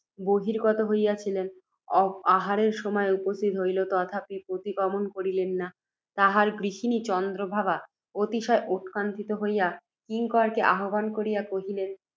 বহির্গত হইয়াছিলেন, আহারের সময় উপস্থিত হইল, তথাপি প্রতিগমন করিলেন না। তাঁহার গৃহিণী চন্দ্রপ্রভা, অতিশয় উৎকণ্ঠিত হইয়া, কিঙ্করকে আহ্বান করিয়া কহিলেন,